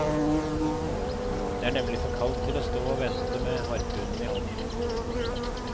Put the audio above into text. Det er nemlig for kaldt til å stå å vente med harpunen i hånden.